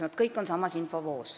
Nad kõik on samas infovoos.